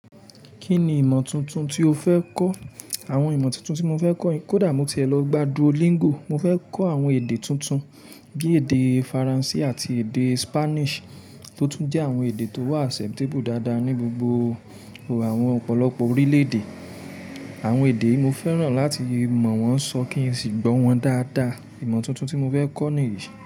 Kí ni ìmọ̀ tuntun tí o fẹ́ kọ́? Àwọn ìmọ̀ tuntun tí mo fẹ́ kọ́ kódà mo tiẹ̀ lọ gbá Duolingo, mo fẹ́ kọ́ àwọn èdè tuntun bí i èdè Faransé àti èdè Spanish tó tún jẹ́ àwọn èdè tó wà acceptable dáadáa ní gbogbo àwọn ọ̀pọ̀lọpọ̀ orílẹ̀-èdè. Àwọn èdè yìí mo fẹ́ràn láti mọ̀ wọ́n sọ kí n sì gbọ́ wọn dáadáa. Ìmọ̀ tuntun tí mo fẹ́ kọ́ nìyí.